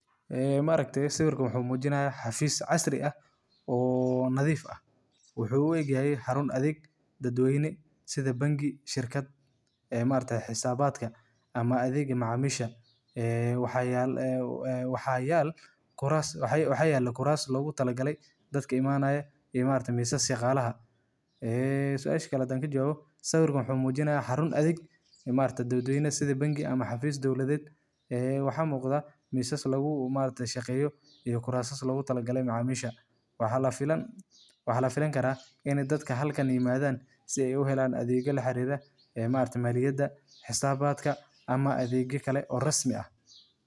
Ee maaragte sawirkan wxu mujinaya xafis ccasri ah oo nadif ah wxu u egyahay xarun adeg dad dadwene sida bangi, shirkad ee maaragtaye xisabadka ama adega macamisha ee wxa yal kuras logu talagale dadka imanaya iyo maaragte misas shaqalaha eeh, suasha kale hadan jababo sawirkan wxumujinaya xarun adeg ee maargte dadweynah ama xafis dowladed ee wxa muqda misas lagu maaragte shaqeyo iyo krasa logutalagale macamisha wax filankara ini dadka halkan imadan si ay u helan adegya la xarira ee ma aragte maliyada xisabadka ama adegya kale oo rasmi ah .